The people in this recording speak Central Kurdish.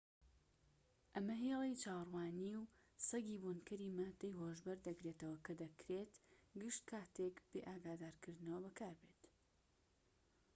ئەمە هێڵی چاوەڕوانی و سەگی بۆنکەری ماددەی هۆشبەر دەگرێتەوە کە دەکرێت گشت کاتێک بێ ئاگادارکردنەوە بەکاربێت